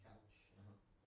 Ja, aha